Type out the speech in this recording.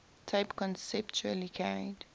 tape conceptually carried